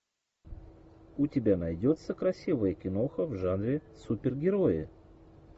у тебя найдется красивая киноха в жанре супергерои